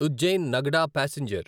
Ujjain Nagda passenger